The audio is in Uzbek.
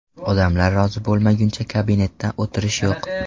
Odamlar rozi bo‘lmaguncha kabinetda o‘tirish yo‘q!